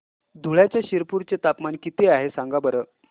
धुळ्याच्या शिरपूर चे तापमान किता आहे सांगा बरं